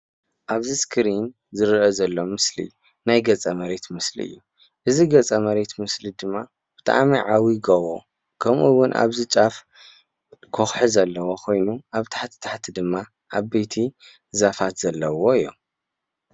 አብዚ ስክሪን ዝረአ ዘሎ ምስሊ ናይ ገፀ መሬት ምስሊ እዩ፡፡ እዚ ገፅ መሬት ምስሊ ድማ ብጣዕሚ ዓብይ ጎቦ ከምኡ እውን አብዚ ጫፍ ከውሒ ዘለዎ ኮይኑ አብ ታሕቲ ታሕቲ ድማ ዓበይቲ ዛፋት ዘለዎ እዩ፡፡